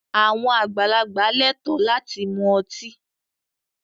Àwọn àgbàlagbà lẹ́ẹ̀tọ́ láti mu ọtí.